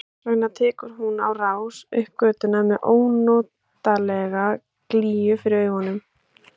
Þess vegna tekur hún á rás upp götuna með ónotalega glýju fyrir augunum.